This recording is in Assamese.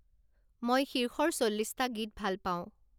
মই শীৰ্ষৰ চল্লিশটা গীত ভাল পাওঁ